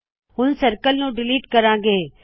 ਹੁਣ ਸਰਕਲ ਨੂ ਡਿਲੀਟ ਕਰਾੰ ਗੇ